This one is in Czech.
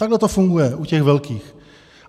Takhle to funguje u těch velkých.